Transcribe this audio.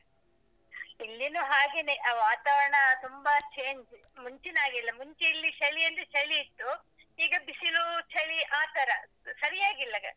ಇಲ್ಲಿನು ಹಾಗೆನೆ ಆ ವಾತಾವರಣ, ತುಂಬ change ಮುಂಚಿನಾಗಿಲ್ಲ ಮುಂಚೆ ಇಲ್ಲಿ ಚಳಿ ಅಂದ್ರೆ ಚಳಿ ಇತ್ತು ಈಗ ಬಿಸಿಲು, ಚಳಿ ಆತರ ಸರಿಯಾಗಿಲ್ಲಗ.